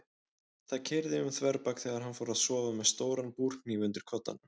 Það keyrði um þverbak þegar hann fór að sofa með stóran búrhníf undir koddanum.